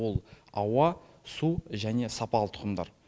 ол ауа су және сапалы тұқымдар